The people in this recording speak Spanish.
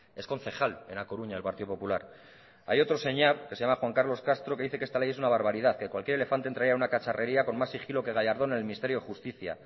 es concejal en a coruña del partido popular hay otro señor que se llama juan carlos castro que dice que esta ley es una barbaridad que cualquier elefante entraría en una cacharrería con más sigilo que gallardón en el ministerio de justicia